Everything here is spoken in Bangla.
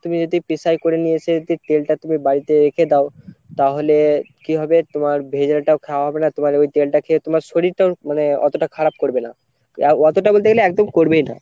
তুমি যদি পিশাই করে নিয়ে এসে যদি তেলটা তুমি বাড়িতে রেখে দেও তাহলে কি হবে তোমার ভেজালটাও খাওয়া হবে না তোমার ওই তেলটা খেয়ে তোমার শরীরটাও মানে অতটা খারাপ করবেনা আহ অতটা বলতে গেলে একদম করবেই না